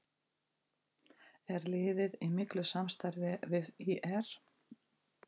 Er liðið í miklu samstarfi við ÍR?